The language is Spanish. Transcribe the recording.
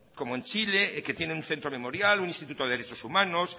como en chile que tienen un centro memorial un instituto de derechos humanos